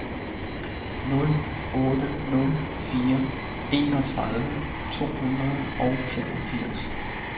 nul otte nul fire enogtredive to hundrede og femogfirs